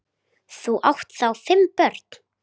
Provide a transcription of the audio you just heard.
Þau áttu þá fimm börn.